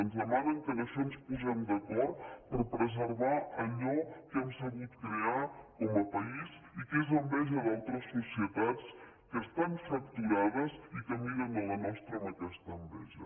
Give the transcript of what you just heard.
ens demanen que en això ens posem d’acord per preservar allò que hem sabut crear com a país i que és enveja d’altres societats que estan fracturades i que miren la nostra amb aquesta enveja